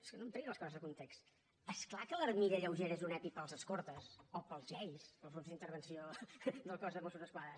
és que no em tregui les coses de context és clar que l’armilla lleugera és un epi per als escortes o per als gei per als grups d’intervenció del cos de mossos d’esquadra